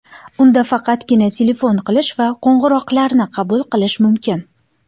Unda faqatgina telefon qilish va qo‘ng‘iroqlarni qabul qilish mumkin.